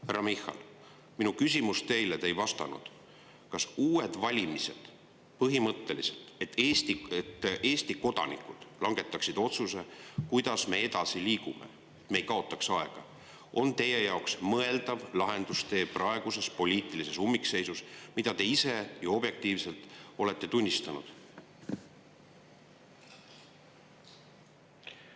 Härra Michal, minu küsimus teile, millele te ei vastanud: kas uued valimised, millel Eesti kodanikud langetaksid otsuse, kuidas me edasi liigume, ja et me ei kaotaks aega, on teie jaoks põhimõtteliselt mõeldav lahendustee praeguses poliitilises ummikseisus, mida te ise ju objektiivselt olete tunnistanud?